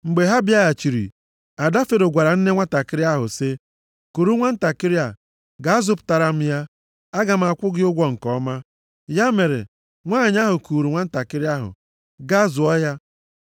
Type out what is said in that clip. Mgbe ha bịaghachiri, ada Fero gwara nne nwantakịrị ahụ sị ya, “Kuru nwantakịrị a, gaa zụpụtara m ya. Aga m akwụ gị ụgwọ nke ọma.” Ya mere, nwanyị ahụ kuuru nwantakịrị ahụ, gaa zụọ ya.